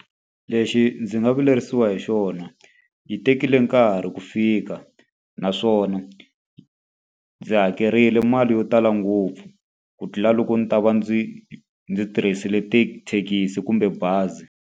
Lexi ndzi nga vilerisiwa hi xona, yi tekile nkarhi ku fika. Naswona ndzi hakerile mali yo tala ngopfu ku tlula loko ndzi ta va ndzi ndzi tirhisile tithekisi kumbe bazi.